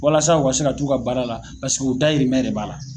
Walasa u se ka t'u ka baara la pasek'u dayirimɛn de b'a la